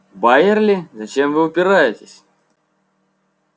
байерли зачем вы упираетесь